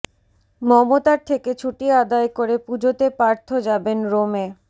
মমতার থেকে ছুটি আদায় করে পুজোতে পার্থ যাবেন রোমে